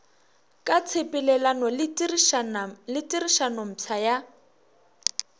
ka tshepelelano le tirišanompsha ya